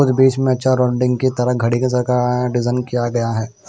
और बीच में चारों डिंग की तरह की तरह घड़ी सरका है डिजाइन किया गया है।